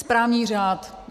Správní řád.